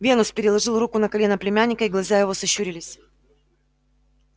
венус переложил руку на колено племянника и глаза его сощурились